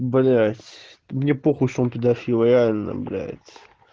блять мне похуй что он педофил реально блять